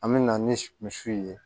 An bɛ na ni misiw ye